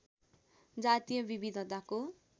जातीय विविधताको